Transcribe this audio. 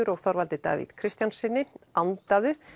og Þorvaldi Davíð Kristjánssyni andaðu